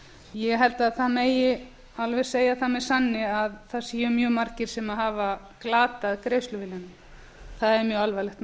ég held að það megi alveg segja það með sanni að það séu mjög margir sem hafa glatað greiðsluviljanum það er mjög alvarlegt